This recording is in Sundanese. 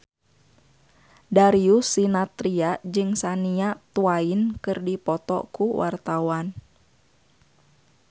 Darius Sinathrya jeung Shania Twain keur dipoto ku wartawan